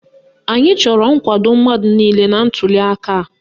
Anyị chọrọ nkwado mmadụ niile na ntuliaka a.